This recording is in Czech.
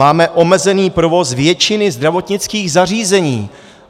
Máme omezený provoz většiny zdravotnických zařízení.